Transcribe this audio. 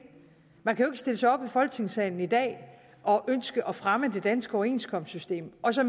man kan jo ikke stille sig op i folketingssalen i dag og ønske at fremme det danske overenskomstsystem og så